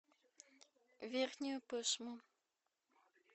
верхнюю пышму